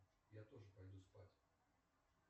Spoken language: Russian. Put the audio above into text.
я тоже пойду спать